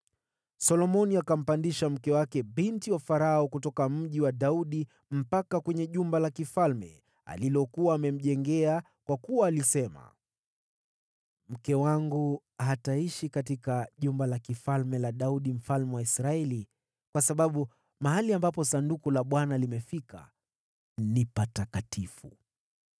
Solomoni akampandisha mke wake binti Farao kutoka Mji wa Daudi na kumleta jumba la kifalme alilokuwa amemjengea, kwa kuwa alisema, “Mke wangu hataishi katika jumba la kifalme la Daudi mfalme wa Israeli, kwa sababu mahali ambapo Sanduku la Bwana limefika ni patakatifu.”